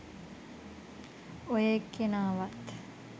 ඔය එක්කෙනාවත්